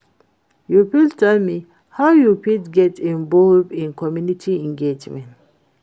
You fit tell me how you fit get involve in community engagement?